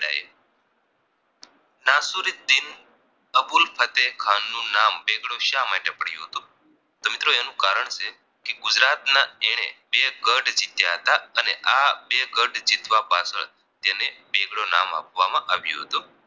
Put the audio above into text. દીન અબુલ ફઝેલ ખાન નામ બેગડો શા માટે પડ્યું હતું તો મિત્રો એનુ કારણ છે ગુજરાતના એણે બે ગઢ જીત્યા હતા અને આ બે ગઢ જીતવા પાછળ તેને બેગડો નામ આપવામાં આવ્યું હતું